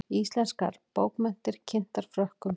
Íslenskar bókmenntir kynntar Frökkum